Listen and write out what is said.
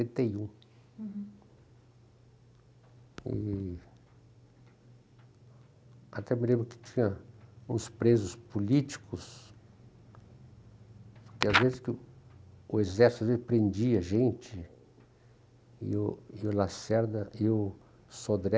e um. Uhum. E... Até me lembro que tinha uns presos políticos, porque às vezes que o o exército né, prendia gente, e o e o Lacerda e o Sodré